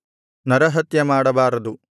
ನರಹತ್ಯ ಮಾಡಬಾರದು